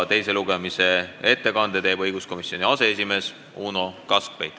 Teise lugemise ettekande teeb õiguskomisjoni aseesimees Uno Kaskpeit.